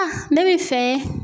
ne bɛ fɛ